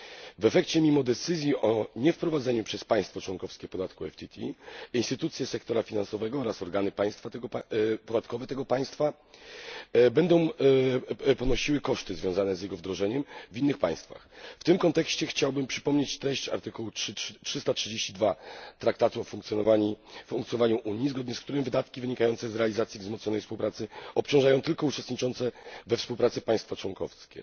W efekcie, mimo decyzji o niewprowadzeniu przez państwo członkowskie podatku PTF, instytucje sektora finansowego oraz organy podatkowe tego państwa będą ponosiły koszty związane z jego wdrożeniem przez inne państwa. W tym kontekście chciałbym przypomnieć treść artykułu 332 Traktatu o funkcjonowaniu Unii, zgodnie z którym wydatki wynikające z realizacji wzmocnionej współpracy obciążają tylko uczestniczące we współpracy państwa członkowskie.